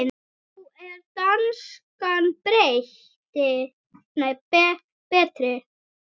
Þá er danskan betri.